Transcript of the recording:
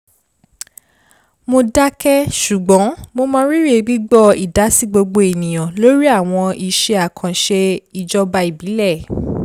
mo dákẹ́ ṣùgbọ́n mo mọ rírí gbígbọ́ ìdásí gbogbo ènìyàn lórí àwọn iṣẹ́ àkànṣe ijoba ìbílẹ̀